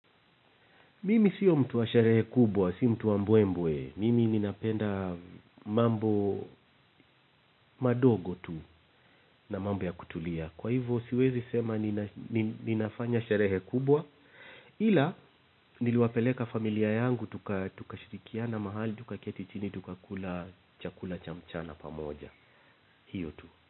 Mimi siyo mtu wa sherehe kubwa, si mtu wa mbwe mbwe. Mimi ninapenda, mambo madogo tu, na mambo ya kutulia. Kwa hivyo siwezi sema ninafanya sherehe kubwa, ila niliwapeleka familia yangu, tukashirikiana mahali, tukaketi chini, tukakula chakula cha mchana pamoja. Hiyo tu.